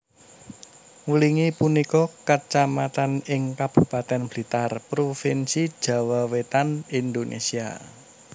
Wlingi punika kacamatan ing Kabupatèn Blitar Provinsi Jawa Wétan Indonésia